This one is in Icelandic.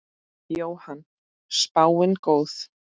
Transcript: Jóhann: Spáin góð?